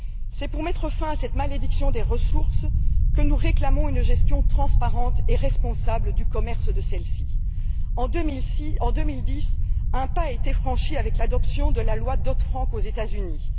C'est pour mettre fin à cette malédiction des ressources que nous réclamons une gestion transparente et responsable du commerce de celles ci. En 2010, un pas a été franchi avec l'adoption de la loi Dodd Frank aux États Unis.